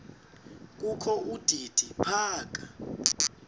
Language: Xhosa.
kokho udidi phaka